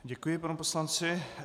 Děkuji panu poslanci.